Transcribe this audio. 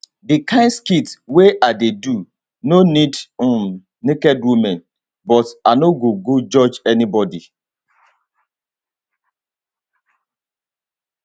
di kain skit wey i dey do no need um naked women but i no go judge anybody